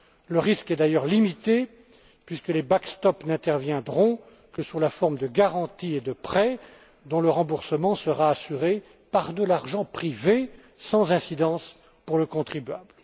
Le risque est d'ailleurs limité puisque ces soutiens n'interviendront que sous la forme de garanties et de prêts dont le remboursement sera assuré par de l'argent privé, sans incidence pour le contribuable.